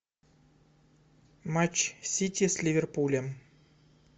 матч сити с ливерпулем